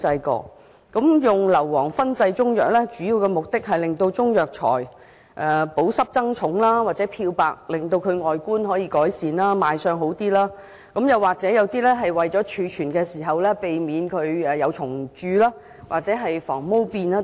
使用硫磺燻製中藥，主要目的是令中藥材保濕以增加重量，或漂白改善外觀，令賣相較好，又或是為了在貯存時避免蟲蛀或防霉等。